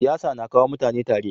Siyasa na kawo mutane tare.